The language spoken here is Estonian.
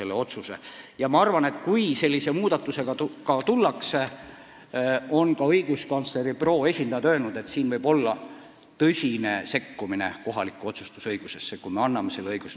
Ka õiguskantsleri büroo esindajad on öelnud, et kui valitsus mingit sellist muudatust soovib teha, siis võib tegu olla tõsise sekkumisega kohalikku otsustusõigusesse.